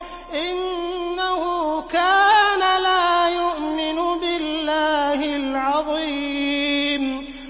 إِنَّهُ كَانَ لَا يُؤْمِنُ بِاللَّهِ الْعَظِيمِ